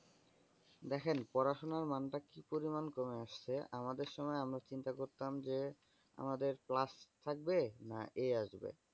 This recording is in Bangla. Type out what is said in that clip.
দেখেন পড়াশুনার মানটা কি পরিমান কমে গেছে। আমাদের সময় আমরা চিন্তা করতাম যে আমাদের class থাকবে না এ আসবে?